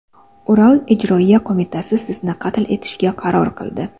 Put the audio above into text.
Ural ijroiya qo‘mitasi sizni qatl etishga qaror qildi.